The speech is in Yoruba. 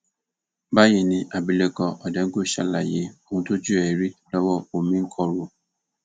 báyìí ni abilékọ òdengul ṣàlàyé ohun tójú ẹ rí lọwọ omìnkọrò